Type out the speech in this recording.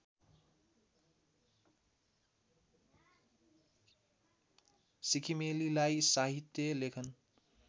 सिक्किमेलीलाई साहित्य लेखन